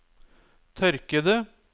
tørkede